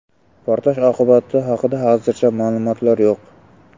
Portlash oqibatlari haqida hozircha ma’lumotlar yo‘q.